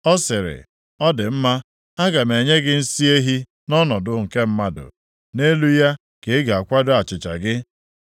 Ọ sịrị, “Ọ dị mma, aga m enye gị nsị ehi nʼọnọdụ nke mmadụ, nʼelu ya ka ị ga-akwado achịcha gị.”